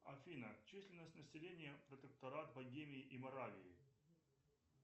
афина численность населения протекторат богемии и моравии